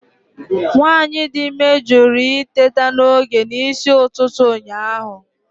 Nwanyị dị ime jụrụ iteta n'oge n'isi ụtụtụ ụnyaahụ.